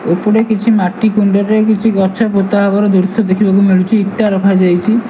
ଏପଟେ କିଛି ମାଟି କୁଣ୍ଡ ରେ କିଛି ଗଛ ପୋତା ହବାର ଦୃଶ୍ୟ ଦେଖିବାକୁ ମିଳୁଚି ଇଟା ରଖାଯାଇଚି।